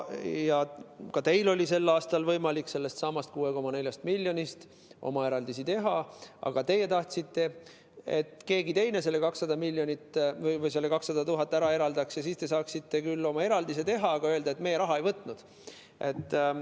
Ka teil oli sel aastal võimalik sellestsamast 6,4 miljonist oma eraldisi teha, aga teie tahtsite, et keegi teine selle 200 000 ära eraldaks ja siis te saaksite küll oma eraldise teha, aga ka öelda, et teie raha ei võtnud.